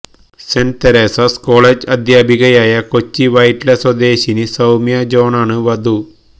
saint Teresa's college അധ്യാപികയായ കൊച്ചി വൈറ്റില സ്വദേശിനി സൌമ്യ ജോണാണ് വധു